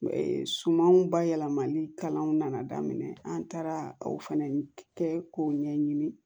Sumanw bayɛlɛmali kalanw nana daminɛ an taara o fɛnɛ kɛ k'o ɲɛɲini